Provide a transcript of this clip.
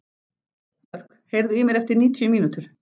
Mörk, heyrðu í mér eftir níutíu mínútur.